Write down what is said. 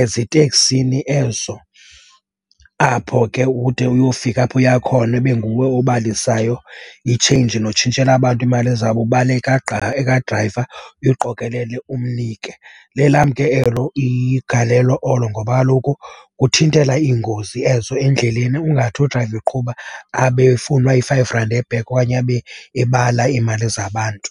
eziteksini ezo apho ke ude uyofika apho uya khona, ibe nguwe obalisayo i-change notshintshela abantu iimali zabo ubale ekadrayiva, uyoqokelele umnike. Lelam ke elo igalelo olo ngoba kaloku kuthintela iingozi ezo endleleni ungathi udrayiva eqhuba abe efunwa i-five rand e-back okanye abe ebala iimali zabantu.